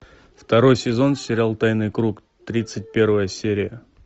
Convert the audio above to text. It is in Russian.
второй сезон сериал тайный круг тридцать первая серия